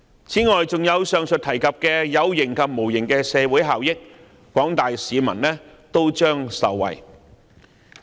此外，還有上述提及的有形及無形的社會效益，廣大市民都將受惠。